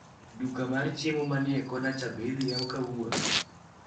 Duka mar chiemo manie kona cha be idi yaw kawuono?